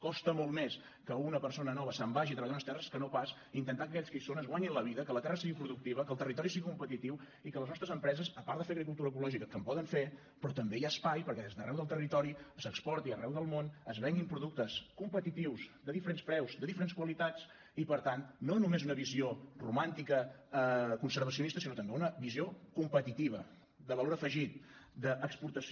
costa molt més que una persona nova se’n vagi a treballar unes terres que no pas intentar que aquells que hi són es guanyin la vida que la terra sigui productiva que el territori sigui competitiu i que les nostres empreses a part de fer agricultura ecològica que en poden fer però també hi ha espai perquè des d’arreu del territori s’exporti arreu del món es venguin productes competitius de diferents preus de diferents qualitats i per tant no només una visió romàntica conservacionista sinó també una visió competitiva de valor afegit d’exportació